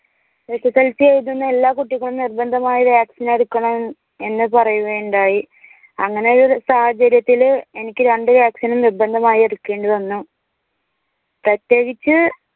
SSLC എഴുതുന്ന എല്ലാ കുട്ടികളും നിർബന്ധമായി vaccine എടുക്കണം എന്ന് പറയുകയുണ്ടായി. അങ്ങനെയൊരു സാഹചര്യത്തില് എനിക്ക് രണ്ട് vaccine നും നിർബന്ധമായി എടുക്കേണ്ടി വന്നു. പ്രത്യേകിച്ച്